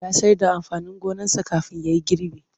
Ya sayar da amfanin gonarsa kafin ya yi gribi.